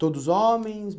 Todos homens?